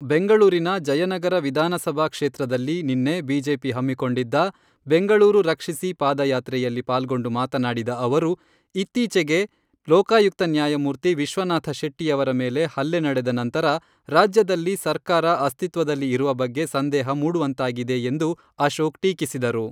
ಬೆಂಗಳೂರಿನ ಜಯನಗರ ವಿಧಾನಸಭಾ ಕ್ಷೇತ್ರದಲ್ಲಿ ನಿನ್ನೆ ಬಿಜೆಪಿ ಹಮ್ಮಿಕೊಂಡಿದ್ದ ಬೆಂಗಳೂರು ರಕ್ಷಿಸಿ ಪಾದ ಯಾತ್ರೆಯಲ್ಲಿ ಪಾಲ್ಗೊಂಡು ಮಾತನಾಡಿದ ಅವರು , ಇತ್ತೀಚೆಗೆ ಲೋಕಾಯುಕ್ತ ನ್ಯಾಯಮೂರ್ತಿ ವಿಶ್ವನಾಥ ಶೆಟ್ಟಿಯವರ ಮೇಲೆ ಹಲ್ಲೆ ನಡೆದ ನಂತರ ರಾಜ್ಯದಲ್ಲಿ ಸರ್ಕಾರ ಅಸ್ತಿತ್ವದಲ್ಲಿ ಇರುವ ಬಗ್ಗೆ ಸಂದೇಹ ಮೂಡುವಂತಾಗಿದೆ ಎಂದು ಅಶೋಕ್ ಟೀಕಿಸಿದರು.